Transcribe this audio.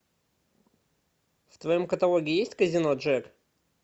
в твоем каталоге есть казино джек